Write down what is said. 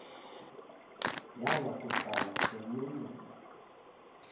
yaya kuhlala emlonyeni